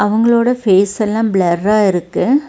இவங்களோட ஃபேஸ் செல்லா ப்ளெர்ரா இருக்கு.